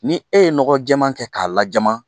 Ni e ye nɔgɔ jɛɛma kɛ k'a lajama